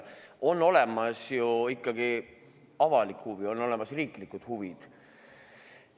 On olemas ju ikkagi avalik huvi, on olemas riiklikud huvid.